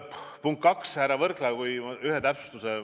Punkt kaks: härra Võrklaev, teen ühe täpsustuse.